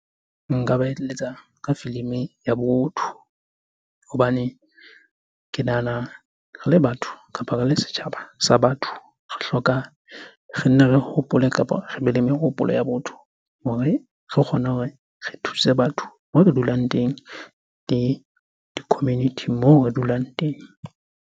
Nka ba eletsa ka filimi ya botho. Hobane ke nahana re le batho kapa re le setjhaba sa batho, re hloka re nne re hopole kapa re be le mehopolo ya botho hore re kgone hore re thuse batho moo re dulang teng le di-community moo re dulang teng.